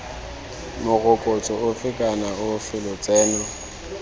morokotso ofe kana ofe lotseno